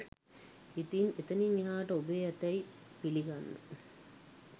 ඉතින් එතනින් එහාට ඔබේ ඇතැයි පිළිගන්න